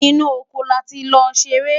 inú ọkọ láti ló seré